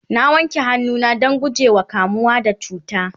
na wanke hannu na Dan gujewa kamuwa da cuta